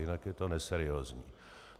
Jinak je to neseriózní.